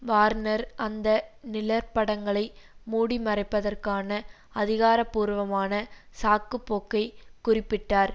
Warner அந்த நிழற்படங்களை மூடிமறைப்பதற்கான அதிகாரபூர்வமான சாக்கு போக்கை குறிப்பிட்டார்